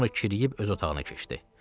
Sonra kiriyib öz otağına keçdi.